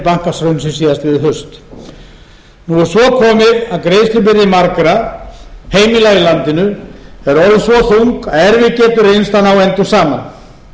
rekja til bankahrunsins síðastliðið haust nú er svo komið að greiðslubyrði margra heimila í landinu er orðin svo þung að erfitt getur reynst að ná endum saman